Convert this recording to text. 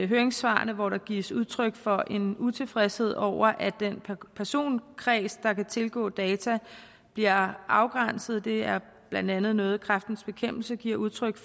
høringssvarene hvor der gives udtryk for en utilfredshed over at den personkreds der kan tilgå data bliver afgrænset det er blandt andet noget kræftens bekæmpelse giver udtryk